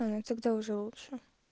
и тогда уже лучше